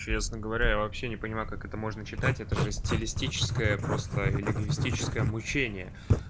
честно говоря я вообще не понимаю как это можно читать этаже стилистическое просто лингвистическое мучение